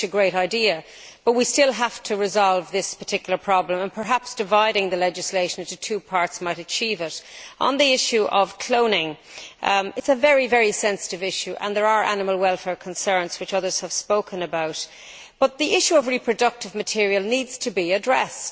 was such a great idea, but we still have to resolve this particular problem and perhaps dividing the legislation into two parts might achieve it. The issue of cloning is a very sensitive issue, and there are animal welfare concerns which others have spoken about, but the issue of reproductive material needs to be addressed.